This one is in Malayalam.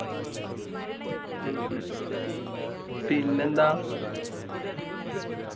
പിന്നെന്താ